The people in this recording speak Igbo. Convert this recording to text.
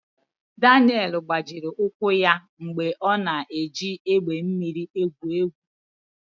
Daniel gbajiri ụkwụ ya mgbe ọ na-eji egbe mmiri egwu egwu.